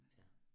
Ja